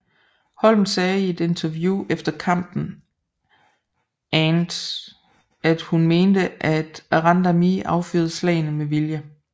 Holm sagde i et interview efter kampen and at hun mente at Randamie affyrede slagene med vilje